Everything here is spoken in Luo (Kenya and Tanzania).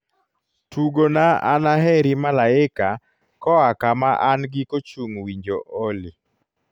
tugona anaheri malaika koa kama an giko chung winjo olly